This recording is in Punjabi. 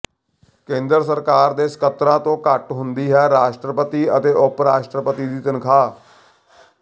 ਕੇਂਦਰ ਸਰਕਾਰ ਦੇ ਸਕੱਤਰਾਂ ਤੋਂ ਘੱਟ ਹੁੰਦੀ ਹੈ ਰਾਸ਼ਟਰਪਤੀ ਅਤੇ ਉਪ ਰਾਸ਼ਟਰਪਤੀ ਦੀ ਤਨਖ਼ਾਹ